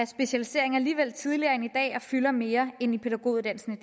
specialiseringen alligevel tidligere end i dag og fylder mere end i pædagoguddannelsen